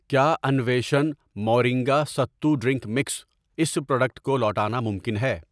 کیا innovation moringa sattu drink mix اس product کو لوٹانا ممکن ہے؟